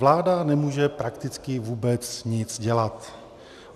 Vláda nemůže prakticky vůbec nic dělat.